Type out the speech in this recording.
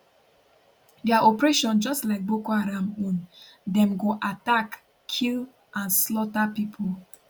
dia operation just like boko haram own dem go attack kill and slaughter pipo